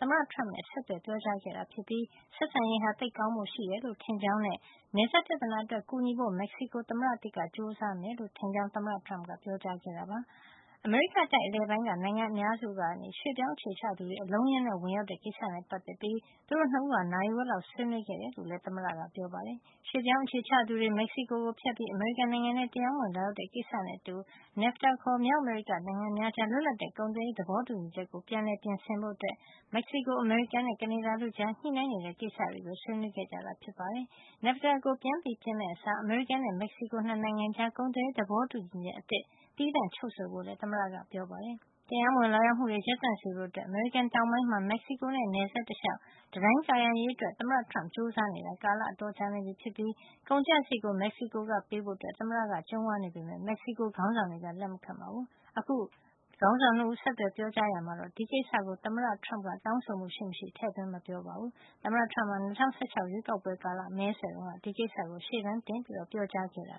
သမ္မတ Trump နဲ့ ဆက်သွယ်ပြောကြားခဲ့တာဖြစ်ပြီး ဆက်ဆံရေးဟာ သိပ်ကောင်းဖို့ ရှိတယ်လို့ ထင်ကြောင်းနဲ့ နယ်စပ်ပြဿနာအတွက် ကူညီဖို့ မက္ကဆီကို သမ္မတသစ်က ကြိုးစားမယ်လို့ ထင်ကြောင်း သမ္မတ Trump ကပြောခဲ့တာပါ။ အမေရိကတိုက် အလယ်ပိုင်းက နိုင်ငံအများစုကနေ ရွှေ့ပြောင်း အခြေချသူတွေ အလုံးအရင်းနဲ့ ဝင်ရောက်တဲ့ ကိစ္စနဲ့ ပတ်သက်ပြီး သူတို့ ၂ ဦးဟာ နာရီဝက်လောက် ဆွေးနွေးခဲ့တယ်လို့လည်း သမ္မတက ပြောပါတယ်။ ရွှေ့ပြောင်း အခြေချသူတွေ မက်ဆီကို ကို ဖြတ်ပြီး အမေရိကန် နိုင်ငံထဲ တရားမဝင် လာရောက်တဲ ကိစ္စနဲ့ အတူ NAFTA ခေါ် မြောက်အမေရိက နိုင်ငံများကြား လွတ်လပ်တဲ့ ကုန်သွယ်ရေး သဘောတူညီချက်ကို ပြန်လည် ပြင်ဆင်ဖို့ မက်ဆီကို၊ အမေရိကန်နဲ့ ကနေဒါတို့ ကြား ညှိနှိုင်းနေတဲ့ ကိစ္စတွေကို ဆွေးနွေးခဲ့ကြတာ ဖြစ်ပါတယ်။ NAFTA ကို ပြန်ပြင်မယ့် အစား အမေရိကန်နဲ့ မက္ကဆီကို ၂ နိုင်ငံကြား ကုန်သွယ်ရေး သဘောတူညီချက် အသစ် သီးသန့် ချုပ်ဆိုဖို့လည်း သမ္မတက ပြောပါတယ်။ တရားမဝင် လာရောက်မှုတွေ ရပ်တံ့စေဖို့ အမေရိကန် တောင်ပိုင်းမှာ မက်ဆီကိုနဲ့ နယ်စပ်တလျှောက် တံတိုင်းကာရံ ရေးအတွက် သမ္မတ Trump ကြိုးစားနေတာ ကာလ အတော်ကြာနေပြီဖြစ်ပြီး ကုန်ကျစားရိတ်ကို မက္ကဆီကိုက ပေးဖို့ သမ္မတက ကြုံးဝါးနေပေမယ့် မက်ဆီကို ခေါင်းဆောင်တွေက လက်မခံပါဘူး။ အခု ခေါင်းဆောင် ၂ ဦး ဆက်သွယ် ပြောကြားရာမှာ ဒီကိစ္စကို သမ္မတ Trump ကတောင်းဆိုမှု ရှိမရှိတော့ ထည့်သွင်းမပြောဆိုပါဘူး။ သမ္မတ Trump ဟာ ၂၀၁၆ ရွေးကောက်ပွဲကာလ မဲဆွယ်တုန်းက ဒီကိစ္စကို ရှေ့တန်းတင်ပြောကြားခဲ့တာ